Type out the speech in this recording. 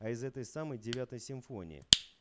а из этой самой девятой симфонии